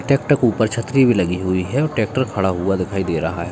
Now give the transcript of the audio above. Tractor के ऊपर छतरी भी लगी हुई है और ट्रेक्टर खड़ा हुआ दिखाई दे रहा है।